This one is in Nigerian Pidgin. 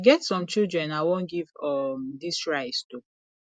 e get some children i wan give um dis rice to